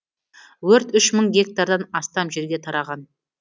өрт үш мың гектардан астам жерге тараған